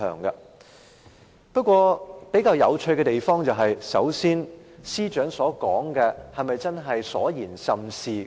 不過，比較有趣的是，首先，司長所說的是否都是事情？